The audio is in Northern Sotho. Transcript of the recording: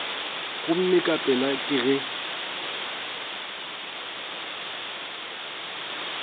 gomme ka pela ke ge